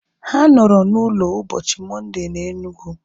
Ha nọrọ na ụlọ ụbọchị Mọnde na Enugu